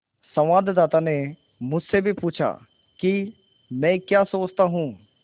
संवाददाता ने मुझसे भी पूछा कि मैं क्या सोचता हूँ